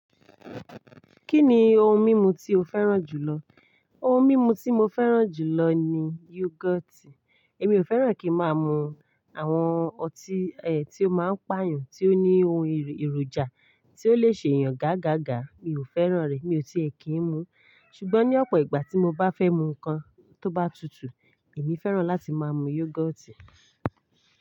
Kí ni ohun mímu tí o fẹ́ràn jù lọ? Ohun mímu tí mo fẹ́ràn jù lọ ni yugoti. Èmi ò fẹ́ràn kí má máa mú àwọn ọtí ẹ ti o máa ń pàyàn, tí ó ní ohun èròjà tí ó lè ṣe èèyàn gágágà. Mi ò fẹ́ràn rẹ̀, mi ò ti è kí ń mu. Ṣùgbọ́n ní ọ̀pọ̀ ìgbà tí mo bá fẹ́ mu nǹkan tó bá tutù, èmi fẹ́ràn láti máa mu yogoti.